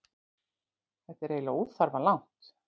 Þetta er eiginlega óþarflega langt.